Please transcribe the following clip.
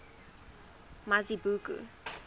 mazibuko